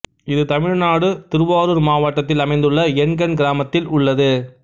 இது தமிழ்நாடு திருவாரூர் மாவட்டதில் அமைந்துள்ள எண்கண் கிராமத்தில் உள்ளது